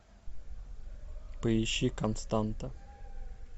поищи константа